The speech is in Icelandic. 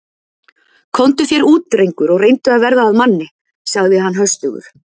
Komdu þér út, drengur og reyndu að verða að manni sagði hann höstugur.